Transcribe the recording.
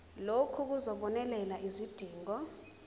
lokhu kuzobonelela izidingo